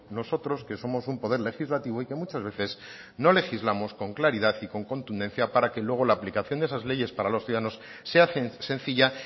nosotros que somos un poder legislativo y que muchas veces no legislamos con claridad y con contundencia para que luego la aplicación de esas leyes para los ciudadanos se hacen sencilla